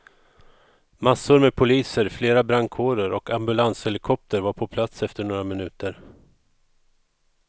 Masssor med poliser, flera brandkårer och ambulanshelikopter var på plats efter några minuter.